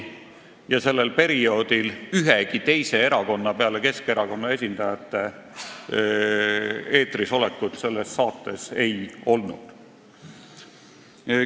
Sellel perioodil selles saates ühegi teise erakonna esindajaid peale Keskerakonna omade eetris ei olnud.